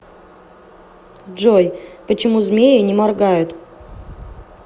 джой почему змеи не моргают